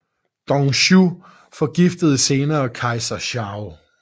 Dong Zhuo forgiftede senere kejser Shao